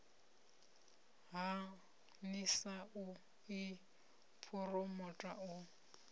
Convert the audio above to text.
ha nlsa i phuromotha u